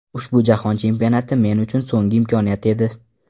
Ushbu Jahon Chempionati men uchun so‘nggi imkoniyat edi.